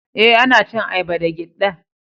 Eh, ana cin ayaba da giɗɗa.